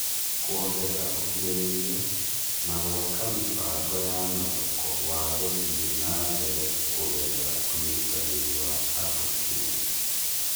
kuongerera ũkirĩrĩria, na gũaka mĩbango ya mathoko wa gũthie na mbere kũgerera ũnyitanĩri wa andũ kĩũmbe